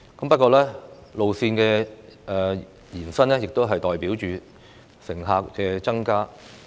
不過，路線的延伸亦代表着乘客數量的增加。